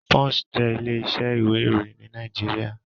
Punch jé ilé isẹ́ ìwé ìròyìn ní Naijiria